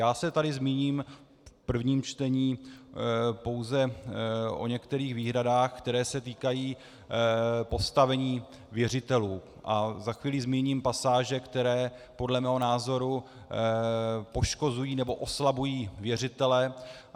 Já se tady zmíním v prvním čtení pouze o některých výhradách, které se týkají postavení věřitelů, a za chvíli zmíním pasáže, které podle mého názoru poškozují nebo oslabují věřitele.